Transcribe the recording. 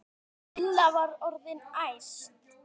Lilla var orðin æst.